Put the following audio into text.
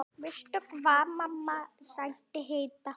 Veistu hvað, mamma, sagði Heiða.